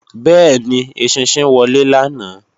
Bẹ́ẹ̀ni, eṣinṣin wọlé lánàá